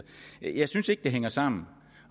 jeg synes ikke det hænger sammen